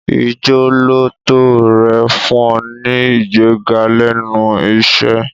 Ìjọ́lóòótọ́ rẹ̀ fún un ní ìgbéga lẹ́nu iṣẹ́.